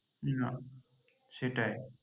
না সেটাই